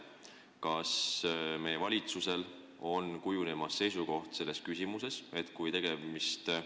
Kas meie valitsusel on kujunemas seisukoht selles küsimuses?